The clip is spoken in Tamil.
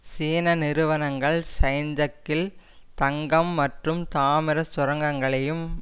சீன நிறுவனங்கள் சைன்தக்கில் தங்கம் மற்றும் தாமிர சுரங்கங்களையும்